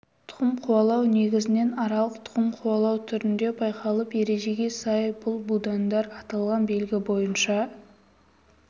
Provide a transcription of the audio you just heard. тұқым қуалау негізінен аралық тұқым қуалау түрінде байқалып ережеге сай бұл будандар аталған белгі бойынша